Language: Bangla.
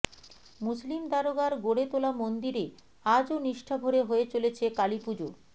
মুসলিম দারোগার গড়ে তোলা মন্দিরে আজও নিষ্ঠাভরে হয়ে চলেছে কালীপুজো